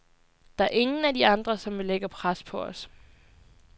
Der er ingen af de andre, som vil lægge pres på os.